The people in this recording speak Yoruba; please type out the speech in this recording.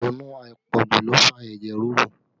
Ìrònú àpọ̀jù ló fa ẹ̀jẹ̀ ríru